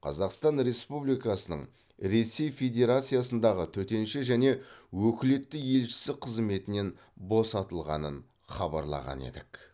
қазақстан республикасының ресей федерациясындағы төтенше және өкілетті елшісі қызметінен босатылғанын хабарлаған едік